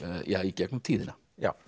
í gegnum tíðina